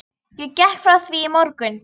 Ég gekk frá því í morgun.